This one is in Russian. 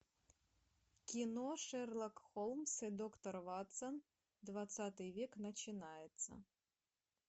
кино шерлок холмс и доктор ватсон двадцатый век начинается